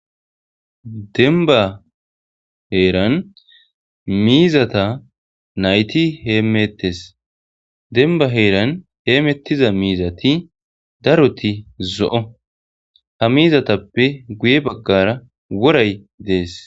denba heeran miizata nayti heemettes denba heeran heemettiza miizati daroti zo7o ha miizatappe guye baggara woray dees